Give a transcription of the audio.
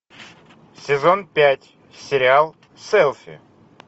сезон пять сериал селфи